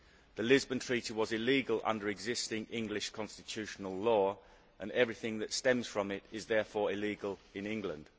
The Lisbon Treaty was illegal under existing English constitutional law, and everything that stems from it is therefore illegal in England.